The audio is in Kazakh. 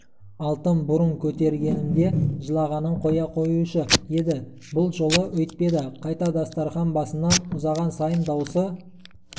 алтын бұрын көтергенімде жылағанын қоя қоюшы еді бұл жолы өйтпеді қайта дастарқан басынан ұзаған сайын даусы